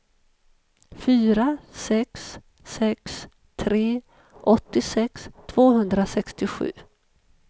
fyra sex sex tre åttiosex tvåhundrasextiosju